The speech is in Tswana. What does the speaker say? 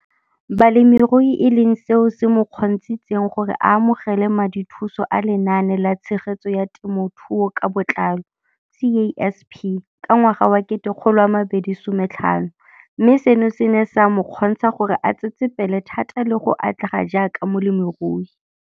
Balemirui e leng seo se mo kgontshitseng gore a amogele madithuso a Lenaane la Tshegetso ya Te mothuo ka Botlalo, CASP, ka ngwaga wa 2015, mme seno se ne sa mo kgontsha gore a tsetsepele thata le go atlega jaaka molemirui.